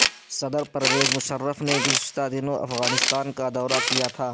صدر پرویز مشرف نے گزشتہ دنوں افغانستان کا دورہ کیا تھا